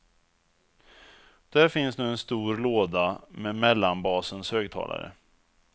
Där finns nu en stor låda med mellanbasens högtalare.